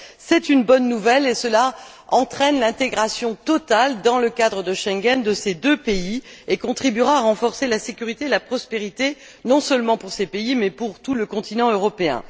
C'est une bonne nouvelle et cela entraîne l'intégration totale, dans le cadre de Schengen, de ces deux pays, ce qui contribuera à renforcer la sécurité et la prospérité, non seulement pour ces pays mais pour tout le continent européen.